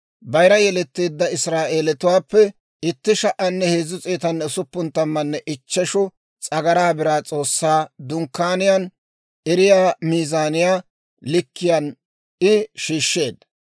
Bayira yeletteedda Israa'eelatuwaappe 1,365 s'agaraa biraa S'oossaa Dunkkaaniyaan erettiyaa miizaaniyaa likkiyaan I shiishsheedda;